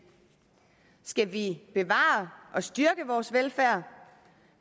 skal vi bevare og styrke vores velfærd